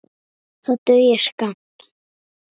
Það dugir skammt.